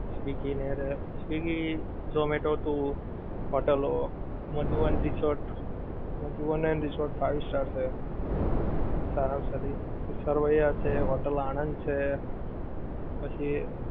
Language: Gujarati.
સ્વીગી ની હારે, સ્વીગી ઝોમેટો હતું હોટલો મધુવન રિસોર્ટ, મધુવન રિસોર્ટ એ five star છે. સારા માં સારી, સરવૈયા છે, હોટેલ આનંદ છે, પછી